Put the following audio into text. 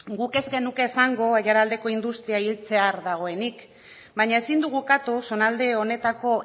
guk ez genuke esango aiaraldeko industria hiltzear dagoenik baina ezin dugu ukatu zonalde honetako